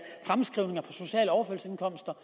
sociale overførselsindkomster